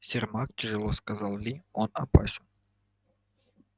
сермак тяжело сказал ли он опасен